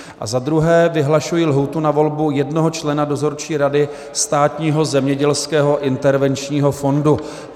A za druhé vyhlašuji lhůtu na volbu jednoho člena Dozorčí rady Státního zemědělského intervenčního fondu.